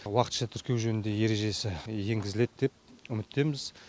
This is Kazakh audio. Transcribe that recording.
уақытша тіркеу жөніндегі ережесі енгізіледі деп үміттеміз